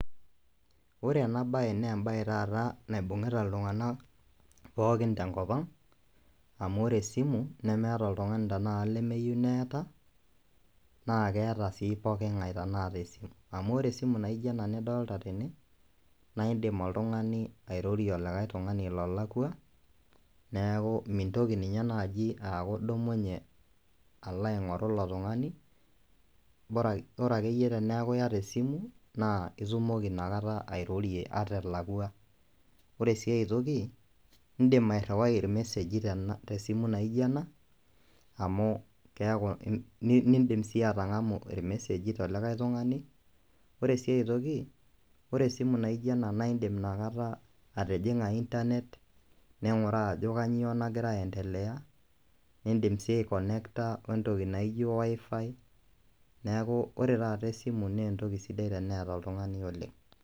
Wore enabaye naa embaye taata naibungita iltunganak pookin tenkop ang', amu wore esimu, nemeeta oltungani tenakata lemeyieou neeta, naa keeta sii pookingae tenakata esimu amu wore esimu naaijo ena nidolta tene naa indiim oltungani airrorie olikae tungani lolakwa, neeku mintoki ninye naaji aaku idumunye alo aingorru ilo tungani bora akeyie teneeku iata esimu, naa itumoki Ina kata airrorie ata elakwa. Wore sii aitoki, iindim airriwai irmesegi tesimu naaijo ena, amu keeku, niidim sii atangamu irmesegi telikae tungani, wore sii ae toki, wore esimu naaijo ena naa indim inakata atijinga internet ninguraa ajo kainyoo nakira aendelea, niindim sii aikonekta entoki naaijo wifi neeku wore taata esimu naa entoki sidai teneeta oltungani oleng'.